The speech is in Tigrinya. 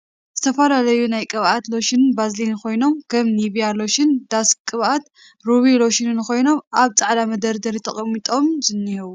ዝተፍላለዩ ናይ ቅብኣትን ሎሽንን ቫዝሊንን ኮይኖም ከም ኒቭያ ሎሽን ዳክስ ቅባት ሩበ ሎሽንን ኮይኖም ኣብ ፃዕዳ መደርደሪ ተቀሞጦም ዝኒሄዉ ።